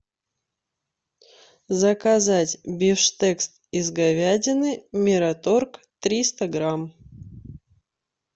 заказать бифштекс из говядины мираторг триста грамм